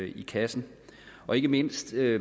i kassen og ikke mindst er